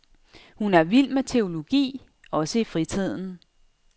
Hun er vild med teologi, også i fritiden.